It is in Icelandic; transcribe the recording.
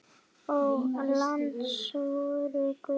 Ó, lands vors guð!